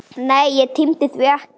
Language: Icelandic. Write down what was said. Nei, ég tímdi því ekki!